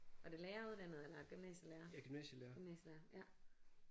Var det læreruddannet eller gymnasielærer? Gymnasielærer ja